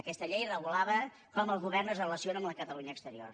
aquesta llei regulava com el govern es relaciona amb la catalunya exterior